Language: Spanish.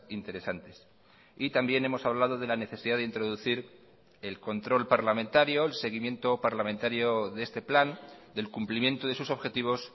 interesantes y también hemos hablado de la necesidad de introducir el control parlamentario el seguimiento parlamentario de este plan del cumplimiento de sus objetivos